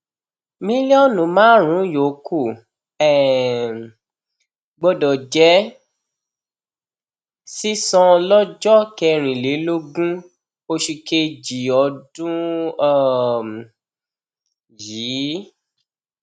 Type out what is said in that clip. mílíọnù márùnún yòókù um gbọdọ jẹ sísan lọjọ kẹrìnlélógún oṣù kejì ọdún um yìí